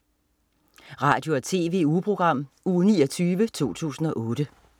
Radio- og TV-ugeprogram Uge 29, 2008